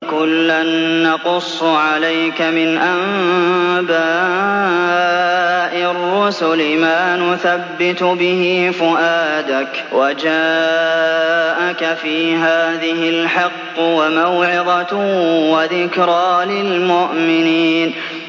وَكُلًّا نَّقُصُّ عَلَيْكَ مِنْ أَنبَاءِ الرُّسُلِ مَا نُثَبِّتُ بِهِ فُؤَادَكَ ۚ وَجَاءَكَ فِي هَٰذِهِ الْحَقُّ وَمَوْعِظَةٌ وَذِكْرَىٰ لِلْمُؤْمِنِينَ